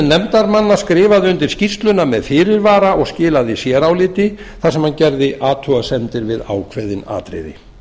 nefndarmanna skrifaði undir skýrsluna með fyrirvara og skilaði séráliti þar sem hann gerði athugasemdir við ákveðin atriði